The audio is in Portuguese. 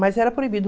Mas era proibido.